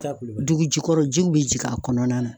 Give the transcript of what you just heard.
dugu jugɔrɔ jiw bɛ jigin a kɔnɔna na.